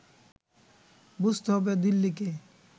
বুঝতে হবে দিল্লিকে